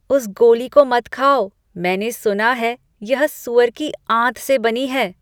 उस गोली को मत खाओ। मैंने सुना है कि यह सुअर की आंत से बनी है।